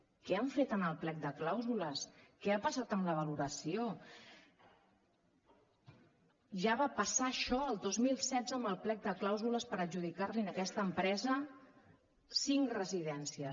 què han fet en el plec de clàusules què ha passat amb la valoració ja va passar això el dos mil setze amb el plec de clàusules per adjudicar li a aquesta empresa cinc residències